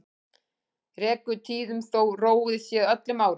Rekur tíðum þó róið sé öllum árum.